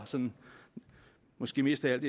sådan måske mest af